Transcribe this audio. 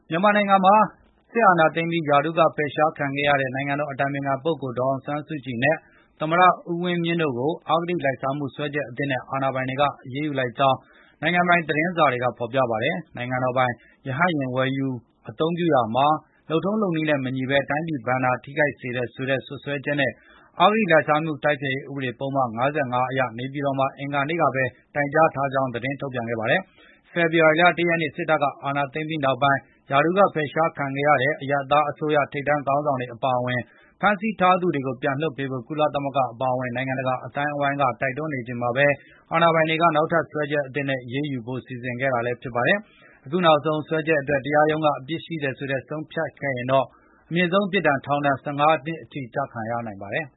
မြန်မာနိုင်ငံမှာ စစ်အာဏာသိမ်းပြီး ရာထူးကဖယ်ရှားခံခဲ့ရတဲ့ နိုင်ငံတော်အတိုင်ပင်ခံပုဂ္ဂိုလ် ဒေါ်အောင်ဆန်းစုကြည်နဲ့ သမ္မတဦးဝင်းမြင့်တို့ကို အဂတိလိုက်စားမှု စွဲချက်သစ်နဲ့ အာဏာပိုင်တွေက အရေးယူလိုက်ကြောင်း နိုင်ငံပိုင် သတင်းတွေက ဖော်ပြပါတယ်။ နိုင်ငံတော်ပိုင် ရဟတ်ယာဉ် ဝယ်ယူ အသုံးပြုရာမှာ လုပ်ထုံးလုပ်နည်းနဲ့မညီဘဲ တိုင်းပြည်ဘဏ္ဍာ ထိခိုက်စေတယ်ဆိုတဲ့ စွပ်စွဲချက်နဲ့ အဂတိလိုက်စားမှု တိုက်ဖျက်ရေး ဥပဒေပုဒ်မ ၅၅ အရ နေပြည်တော်မှာ အင်္ဂါနေ့ကပဲ တိုင်ကြားထားကြောင်း သတင်းထုတ်ပြန်ခဲ့တာပါ။ ဖေဖော်ဝါရီလ ၁ ရက်နေ့ စစ်တပ်က အာဏာသိမ်းပြီးနောက်ပိုင်း ရာထူးက ဖယ်ရှားခံခဲ့ရတဲ့ အရပ်သားအစိုးရ ထိပ်တန်း ခေါင်းဆောင်တွေ အပါအဝင် ဖမ်းဆီးထားသူတွေကို ပြန်လွှတ်ပေးဖို့ ကုလသမဂ္ဂ အပါအဝင် နိုင်ငံတကာ အသိုင်းအဝန်းက တိုက်တွန်းနေချိန်မှာပဲ အာဏာပိုင်တွေက နောက်ထပ်စွဲချက်သစ်နဲ့ အရေးယူဖို့ စီစဉ်ခဲ့တာလည်း ဖြစ်ပါတယ်။ အခုနောက်ဆုံး စွဲချက်အတွက် တရားရုံးက အပြစ်ရှိတယ်လို့ ဆုံးဖြတ်ရင်တော့ အမြင့်ဆုံးပြစ်ဒဏ် ထောင်ဒဏ် ၁၅ နှစ်အထိ ကျခံရနိုင်ပါတယ်။